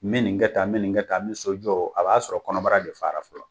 N be nin kɛ tan n be nin kɛ tan n be so jɔ a b'a sɔrɔ kɔnɔbara de fara fɔlɔ